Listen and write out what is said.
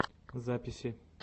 записи